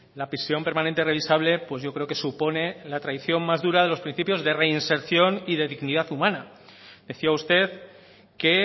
la prisión permanente revisable pues yo creo que supone la traición más dura de los principios de reinserción y de dignidad humana decía usted que